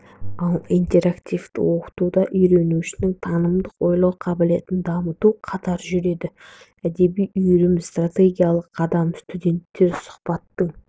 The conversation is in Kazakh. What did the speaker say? ал интерактивті оқытуда үйренушінің танымдық ойлау қабілетін дамыту қатар жүреді әдеби үйірме стратегиясы қадам студенттер сұхбаттың